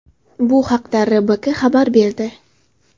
Bu haqda RBK xabar berdi .